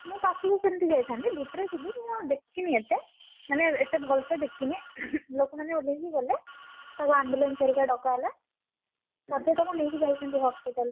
ନା ପାଖକୁ କେମତି ଯାଇଥାନ୍ତି, ଭିତରେ ଥିଲି। ମୁଁ, ଦେଖିନି ଏତେ ମାନେ ଏତେ ଭଲସେ ଦେଖିନି ଲୋକମାନେ ଓଲ୍ହେଇକି ଗଲେ, ତାକୁ ambulance ହରିକା ଡକା ହେଲା। ତାପରେ ତାକୁ ନେଇକି ଯାଇଛନ୍ତି hospital ।